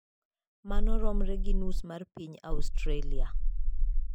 Mano romre gi nus mar piny Australia.